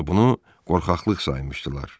Və bunu qorxaqlıq saymışdılar.